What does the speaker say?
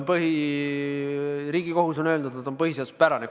Ja Riigikohus on öelnud, et see on põhiseaduspärane.